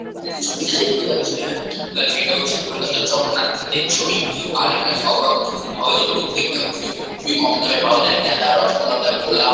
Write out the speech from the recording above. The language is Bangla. এখানে ছবিটা দেখতে পাচ্ছি ফুল আছে এটা হচ্ছে কলকাতা জগন্নাথ ঘাটের ছবি আর এখানে সব রকম ফুল পাওয়া যায় প্রত্যেকটা ফুল এখানে খুবই কম দামে পাওয়া যায় গ্যাদা রজনীগন্ধা গোলাপ।